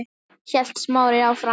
hélt Smári áfram.